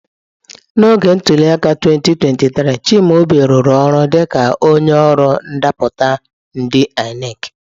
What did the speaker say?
N'oge ntuli aka 2023, Chimaobi rụrụ ọrụ dịka onye ọrụ ndapụta ndi ineki.